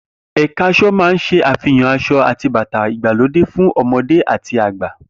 Eka aso máa ń se àfihàn aṣọ ati bàtà ìgbàlódé fún ọmọdé àti àgbà